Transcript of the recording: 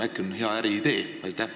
Äkki on see hea äriidee?